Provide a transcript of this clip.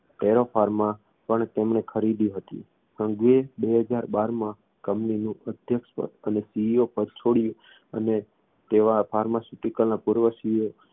tero pharma પણ તેમણે ખરીદી હતી સંઘવીએ બે હજાર બારમાં company નું અધ્યક્ષ પદ અને CEO પદ છોડ્યું અને તેવા pharmaceutical ના પૂર્વ CEO